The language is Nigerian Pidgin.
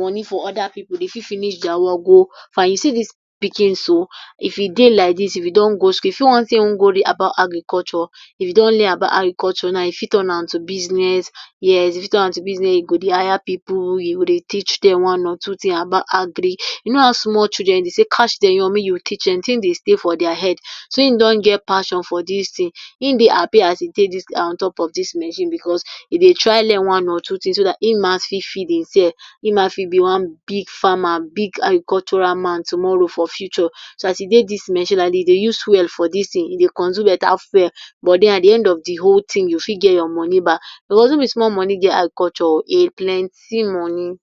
money for oda pipu. Dey fit finish dia work go find, you see dis pikin so, if e dey like dis if e don go e fit want sey in want go read about Agriculture, if e don learn about agriculture now e fit want turn am to business yes, e fit turn am to business e go dey higher pipu you know, dey teach dem one or two thing about agric, you know how small children dey say catch dem young make you teach dem. De thing dey stay for dia head so in don get passion for dis thing, in dey happy as e take sidon on top of dis machine because he dey try learn one or two things so dat in ma fit dey sell, in ma fit be big farmer, big agricultural man tomorrow for future. so as e dey dis machine like dis e dey use fuel for dis thing e dey consume beta fuel but den at de end of de whole thing you fit get your money back because no be small money dey agriculture, e plenty money.